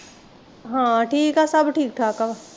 ਹਾਂ ਠੀਕ ਐ ਸਭ ਠੀਕ ਠਾਕ ਆ